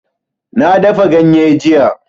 Na dafa ganye jiya